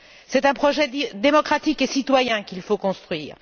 C'est un projet démocratique et citoyen qu'il faut construire.